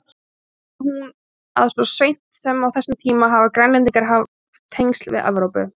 Sýnir hún að svo seint sem á þessum tíma hafa Grænlendingar haft tengsl við Evrópu.